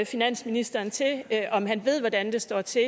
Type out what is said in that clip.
finansministeren om han ved hvordan det står til